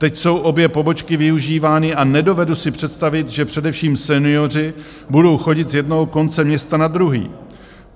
"Teď jsou obě pobočky využívány a nedovedu si představit, že především senioři budou chodit z jednoho konce města na druhý.